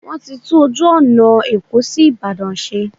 Wọ́n ti tún ojú ọ̀nà Èkó sí Ìbàdàn ṣe.